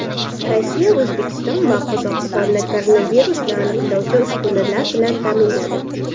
Rossiya O‘zbekiston va Qozog‘istonni koronavirusni aniqlovchi uskunalar bilan ta’minladi.